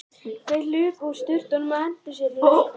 Þeir hlupu úr sturtunum og hentu sér út í laugina.